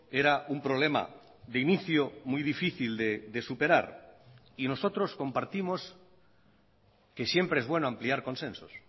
era un problema de inicio muy difícil de superar y nosotros compartimos que siempre es bueno ampliar consensos